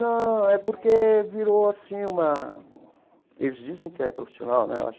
Não, é porque virou, assim, uma... Eles dizem que é profissional, né?